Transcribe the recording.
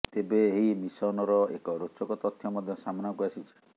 ତେବେ ଏହି ମିଶନର ଏକ ରୋଚକ ତଥ୍ୟ ମଧ୍ୟ ସାମ୍ନାକୁ ଆସିଛି